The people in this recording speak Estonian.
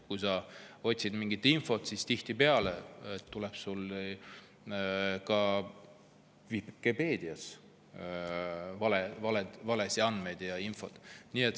Kui sa otsid mingit infot, siis tihtipeale tuleb sulle ka Wikipedias ette valeandmeid ja ‑infot.